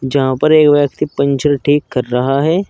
जहां पर एक व्यक्ति पंचर ठीक कर रहा है।